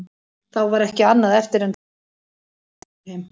Þá var ekki annað eftir en drífa matinn í sig og koma sér heim.